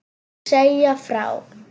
Segja frá.